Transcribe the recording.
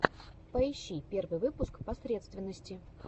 поищи первый выпуск посредственности